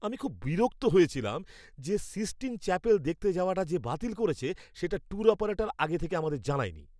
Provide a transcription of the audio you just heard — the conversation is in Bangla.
আমি খুব বিরক্ত হয়েছিলাম যে সিস্টিন চ্যাপেল দেখতে যাওয়াটা যে বাতিল করেছে সেটা ট্যুর অপারেটর আগে থাকতে আমাদের জানায়নি।